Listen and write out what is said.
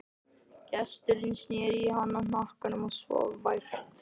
Gesturinn sneri í hana hnakkanum og svaf vært.